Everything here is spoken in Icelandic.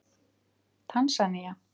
Tansanía